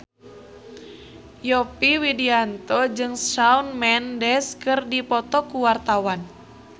Yovie Widianto jeung Shawn Mendes keur dipoto ku wartawan